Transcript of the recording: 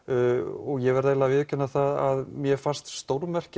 og ég verð að viðurkenna það að mér fannst stórmerkilegt